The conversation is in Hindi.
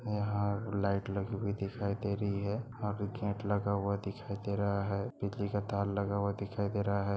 और यहाँ लाइट लगी हुई दिखाई दे रही है और गेट लगा हुआ दिखाई दे रहा है बिजली का तार लगा हुआ दिखाई दे रहा है।